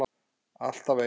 Alltaf eins.